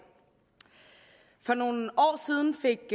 for nogle år siden fik